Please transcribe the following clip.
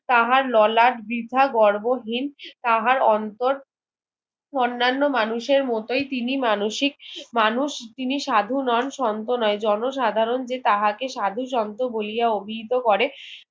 তাহার ললাট বৃথা গর্বহীন তাহার অন্তর অন্নান্য মানুষের মতোই তিনি মানুষিক মানুষ তিনি সাধু নন সন্ত নয় জন সাধারণ যে তাহাকে সাধু শান্ত বলিয়া অভিভূত করে